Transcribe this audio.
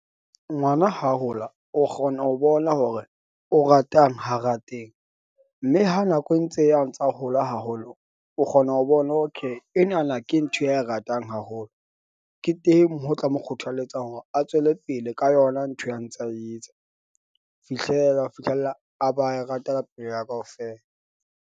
Ngwana ha hola o kgona ho bona hore o ratang ha rateng, mme ha nako e ntse e ya a ntsa hola haholo, o kgona ho bona, okay. Enana ke ntho ya e ratang haholo. Ke teng, ho tla mo kgothaletsang hore a tswele pele ka yona ntho ya ntsa etsa fihlela ho fihlela a ba a e rata ka pelo ya hae kaofela.